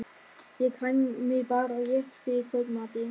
Ég kæmi bara rétt fyrir kvöldmatinn.